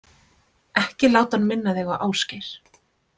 Ekki láta hann minna þig á Ásgeir.